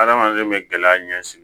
Adamaden bɛ gɛlɛya ɲɛsigi